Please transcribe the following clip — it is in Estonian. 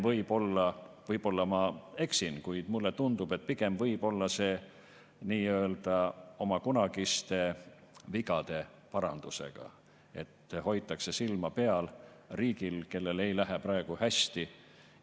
Võib-olla ma eksin, kuid mulle tundub, et pigem võib olla see nii-öelda oma kunagiste vigade parandus, et hoitakse silma peal riigil, kellel ei lähe praegu hästi.